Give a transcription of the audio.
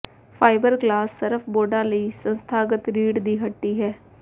fibreglass surf ਬੋਰਡਾਂ ਲਈ ਸੰਸਥਾਗਤ ਰੀੜ੍ਹ ਦੀ ਹੱਡੀ ਹੈ